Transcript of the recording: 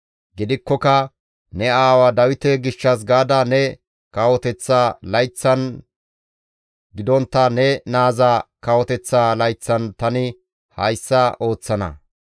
Gidikkoka ne aawa Dawite gishshas gaada ne kawoteththa layththan gidontta ne naaza kawoteththa layththan tani hayssa ooththana.